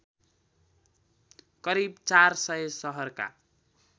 करिब ४०० सहरका